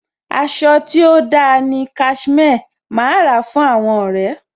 Aṣọ tí ó da ni Cashmere. Màá ra fún àwọn ọ̀rẹ́.